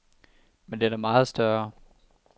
Men den er meget større.